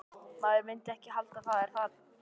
Maður myndi ekki halda það, er það?